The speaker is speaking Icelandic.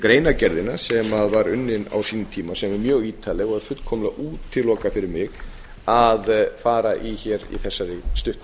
greinargerðina sem var unnin á sínum tíma sem er mjög ítarleg og fullkomlega útilokað fyrir mig að fara í hér í þessari